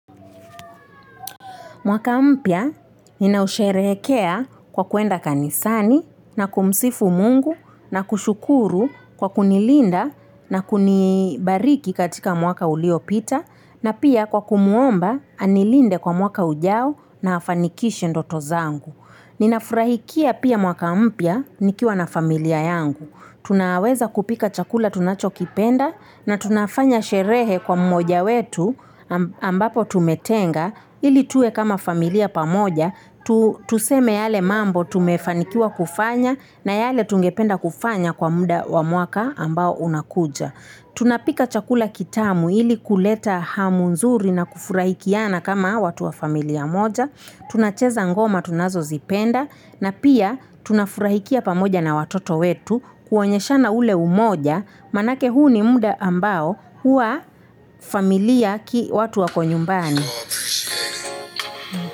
Mwaka mpya ninausherehekea kwa kwenda kanisani na kumsifu mungu na kushukuru kwa kunilinda na kunibariki katika mwaka uliopita na pia kwa kumuomba anilinde kwa mwaka ujao na afanikishi ndoto zangu. Ninafurahikia pia mwaka mpya nikiwa na familia yangu. Tunaweza kupika chakula tunacho kipenda na tunafanya sherehe kwa mmoja wetu ambapo tumetenga ili tuwe kama familia pamoja. Tuseme yale mambo tumefanikiwa kufanya na yale tungependa kufanya kwa muda wa mwaka ambao unakuja. Tunapika chakula kitamu ili kuleta hamu nzuri na kufurahikiana kama watu wa familia moja. Tunacheza ngoma tunazo zipenda na pia tunafurahikia pamoja na watoto wetu kuonyeshana ule umoja manake huu ni muda ambao huwa familia ki watu wako nyumbani.